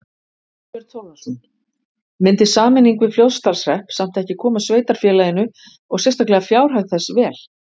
Þorbjörn Þórðarson: Myndi sameining við Fljótsdalshrepp samt ekki koma sveitarfélaginu og sérstaklega fjárhag þess vel?